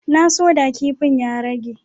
Na so da kipin ya rage.